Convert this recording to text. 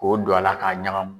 K'o don a la k'a ɲagami